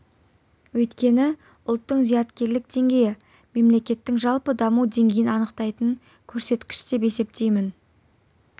өйткені ұлттың зияткерлік деңгейі мемлекеттің жалпы даму деңгейін анықтайтын көрсеткіш деп есептеймін